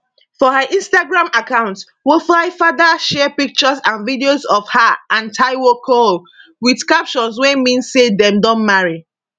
for her instagram account wofaifada share pictures and videos of her and taiwo cole wit captions wey mean say dem don marry